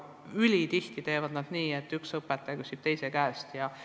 Ülitihti käib see nii, et üks õpetaja küsib teise käest nõu.